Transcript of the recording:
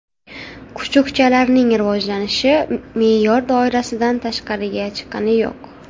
Kuchukchalarning rivojlanishi me’yor doirasidan tashqariga chiqqani yo‘q.